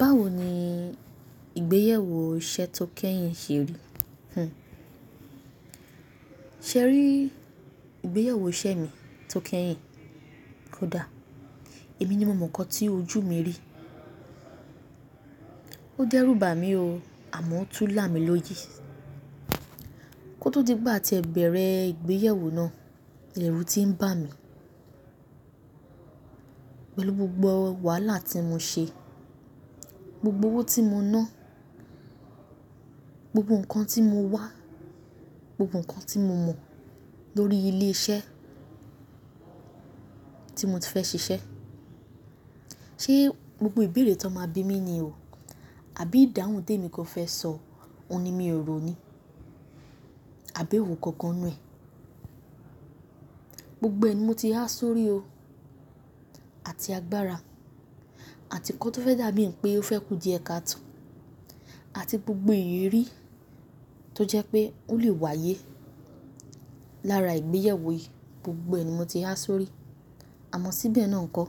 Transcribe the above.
Báwo ni ìgbéyẹwó iṣẹ́ tó kẹ́yìn ṣe rí? Ṣé rí ìgbéyàwó iṣẹ́ mi tó kẹ́yìn? Kódà èmi ni mo mọ nǹkan tí ojú mi rí. Ó dẹ́rùbà mí o, àmọ́ ó tú lá mi lóyè. Kótó di wipe a tí ẹ bẹ̀rẹ̀ ìgbéyàwó náà, ẹrù ti ń bà mí. Pẹ̀lú gbogbo wàhálà tí mo ṣe, gbogbo owó tí mo ná, gbogbo nǹkan tí mo wá, gbogbo nǹkan tí mo mọ̀ lórí ilé iṣẹ́ tí mo ti fẹ́ ṣiṣẹ́. Ṣé gbogbo ìbéèrè tọn máa bí mi ni o? Àbí ìdáhùn té mi gan fẹ́ sọ ohun ni mi ò rò ni? Àbí ewo gangan nù ẹ? Gbogbo ẹ̀ ni mo ti há sórí o, àti agbára àti nǹkan tó fẹ́ dàbí ìpè ó fẹ́ kú diẹ ka to àti gbogbo ìrírí tó jẹ́ pé ó lè wáyé lára ìgbéyẹ̀wó yìí, gbogbo ẹ̀ ni mo ti rí á sórí. Àmọ́ síbẹ̀ náà nkọ,